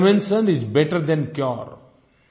prevention is better than cure